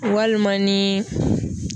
Walima ni